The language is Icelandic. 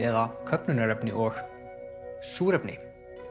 eða köfnunarefni og súrefni